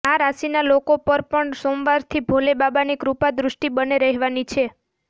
આ રાશિના લોકો પર પણ સોમવારથી ભોલે બાબાની કૃપા દૃષ્ટિ બને રહેવાની છે